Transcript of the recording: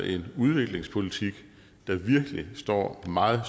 en udviklingspolitik der virkelig står en meget